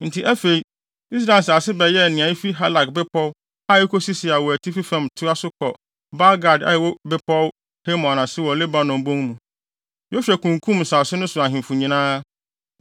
Enti afei, Israel nsase bɛyɛɛ nea efi Halak bepɔw a ekosi Seir wɔ atifi fam toa so kɔ Baal-Gad a ɛwɔ Bepɔw Hermon ase wɔ Lebanon bon mu. Yosua kunkum nsase no so ahemfo nyinaa,